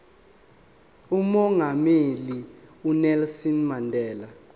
umongameli unelson mandela